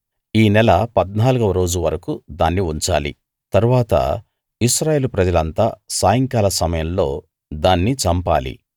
ఈ నెల 14 వ రోజు వరకూ దాన్ని ఉంచాలి తరువాత ఇశ్రాయేలు ప్రజలంతా సాయంకాల సమయంలో దాన్ని చంపాలి